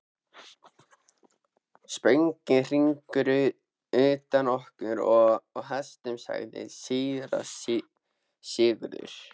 Spöngin hrynur undan okkur og hestunum, sagði síra Sigurður.